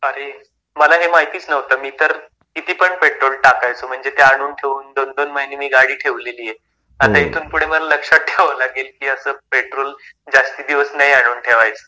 अरे मला हे माहितीच नव्हतं मी तर किती पण पेट्रोल टाकायचो. म्हणजे ते आणून ठेऊन दोन दोन महिने मी गाडी ठेवलेली आहे. आता इथून पुढे मला लक्षात ठेवावं लागेल की असं पेट्रोल जास्ती दिवस नाही आणून ठेवायचं.